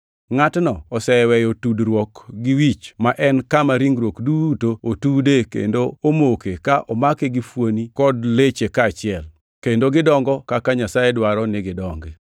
Ngʼatno oseweyo tudruok gi wich ma en e kama ringruok duto otude kendo omoke ka omake gi fuonini kod leche kaachiel, kendo gidongo kaka Nyasaye dwaro ni gidongi.